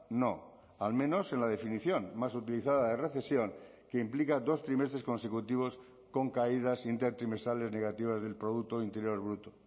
no al menos en la definición más utilizada de recesión que implica dos trimestres consecutivos con caídas intertrimestrales negativas del producto interior bruto